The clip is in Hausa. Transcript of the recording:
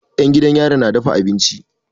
'Yan gidan yari na dafa abinci.